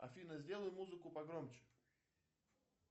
афина сделай музыку погромче